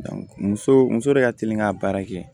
muso muso de ka teli ka baara kɛ